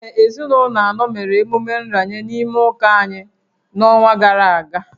Ee, ezinụlọ anọ mere emume nranye n’ime ụka anyị n’ọnwa gara aga